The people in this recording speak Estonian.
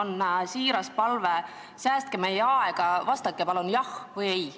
Ja mul on siiras palve: säästke meie aega ja vastake palun jah või ei.